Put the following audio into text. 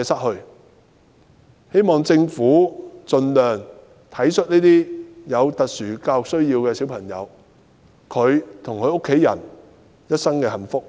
我希望政府盡量體恤這些有特殊教育需要的小朋友，照顧他們和家人一生的幸福。